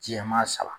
Jɛman saba